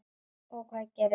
Og hvað gerist?